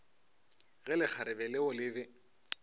ge lekgarebe leo le be